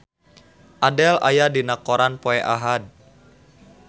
Adele aya dina koran poe Ahad